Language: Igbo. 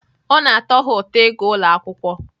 Ọ na-atọ ha ụtọ ịga ụlọ akwụkwọ